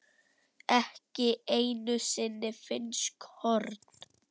ekki einu sinni finnsk horn.